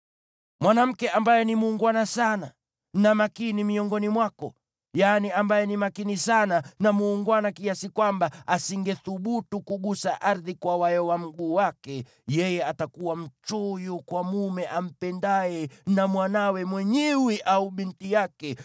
Mwanamke ambaye ni muungwana sana na makini miongoni mwako, yaani ambaye ni makini sana na muungwana kiasi kwamba asingethubutu kugusa ardhi kwa wayo wa mguu wake, yeye atakuwa mchoyo kwa mume ampendaye na mwanawe mwenyewe au binti yake,